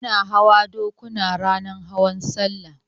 Ana hawa dokuna ranar hawan sallah